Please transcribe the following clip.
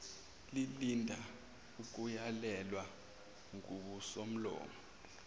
lilinda ukuyalelwa ngusomlomo